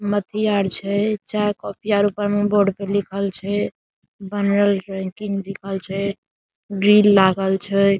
अथी आर छै चाय कॉफी और बोर्ड पे लिखल छै लिखल छै ग्रिल लागल छै।